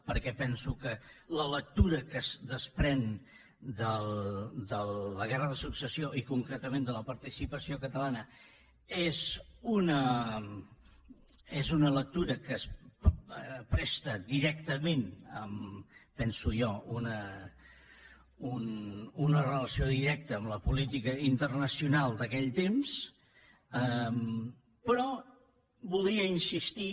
perquè penso que la lectura que es desprèn de la guerra de successió i concretament de la participació catalana és una lectura que es presta directament ho penso jo a una relació directa amb la política internacional d’aquell temps però voldria insistir